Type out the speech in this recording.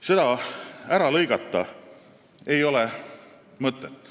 Seda võimalust ära lõigata ei ole mõtet.